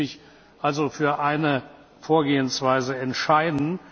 Ich muss mich also für eine Vorgehensweise entscheiden.